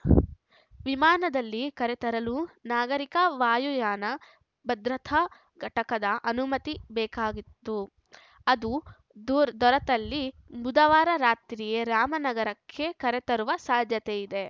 ವಿಮಾನದಲ್ಲಿ ಕರೆತರಲು ನಾಗರಿಕ ವಾಯುಯಾನ ಭದ್ರತಾ ಘಟಕದ ಅನುಮತಿ ಬೇಕಾಗಿತ್ತು ಅದು ದೂರ್ ದೊರತಲ್ಲಿ ಬುಧವಾರ ರಾತ್ರಿಯೇ ರಾಮನಗರಕ್ಕೆ ಕರೆತರುವ ಸಾಧ್ಯತೆ ಇದೆ